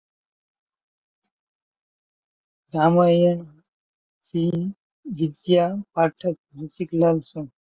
રામાયણ ની વિધા પાઠક ઋષીકલાલ છે